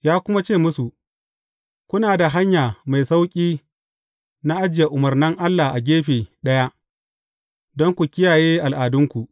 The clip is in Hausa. Ya kuma ce musu, Kuna da hanya mai sauƙi na ajiye umarnan Allah a gefe ɗaya, don ku kiyaye al’adunku!